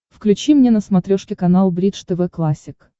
включи мне на смотрешке канал бридж тв классик